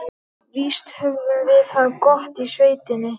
Víst höfðum við það gott í sveitinni.